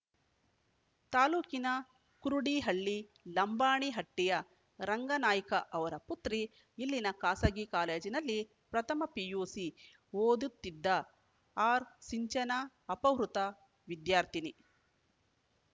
ತಾಲೂಕಿನ ಕುರುಡಿಹಳ್ಳಿ ಲಂಬಾಣಿ ಹಟ್ಟಿಯ ರಂಗನಾಯ್ಕ ಅವರ ಪುತ್ರಿ ಇಲ್ಲಿನ ಖಾಸಗಿ ಕಾಲೇಜಿನಲ್ಲಿ ಪ್ರಥಮ ಪಿಯುಸಿ ಓದುತ್ತಿದ್ದ ಆರ್‌ಸಿಂಚನಾ ಅಪಹೃತ ವಿದ್ಯಾರ್ಥಿನಿ